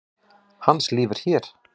Hans líf er hér.